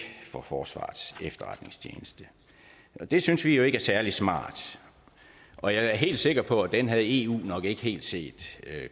for forsvarets efterretningstjeneste det synes vi jo ikke er særlig smart og jeg er helt sikker på at den havde eu nok ikke helt set